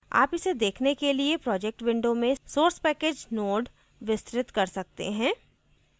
आप इसे देखने के लिए projects window में source package node विस्तृत कर सकते हैं